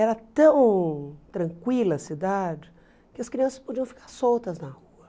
Era tão tranquila a cidade que as crianças podiam ficar soltas na rua.